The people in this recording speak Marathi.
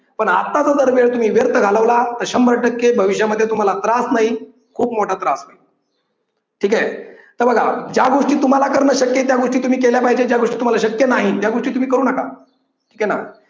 पण आत्ताचा जर वेळ तुम्ही व्यर्थ घालवला तर शंभर टक्के भविष्यामध्ये तुम्हाला त्रास नाही खूप मोठा त्रास आहे. ठीक आहे. तर बघा. ज्या गोष्टी तुम्हाला करणं शक्य आहे त्या तुम्ही केला पाहिजे या गोष्टी तुम्हाला शक्य नाही त्या गोष्टी तुम्ही करू नका. ठीक आहे ना!